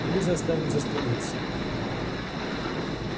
или заставит застрелиться